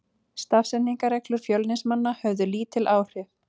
Stafsetningarreglur Fjölnismanna höfðu lítil áhrif.